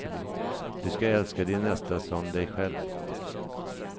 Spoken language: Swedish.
Du skall älska din nästa som dig själv.